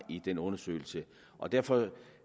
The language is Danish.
i den undersøgelse og derfor var